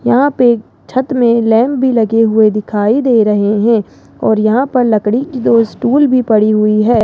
यहां पे छत में लैंप भी लगे हुए दिखाई दे रहे है और यहां पर लकड़ी की दो स्टूल भी पड़ी हुई है।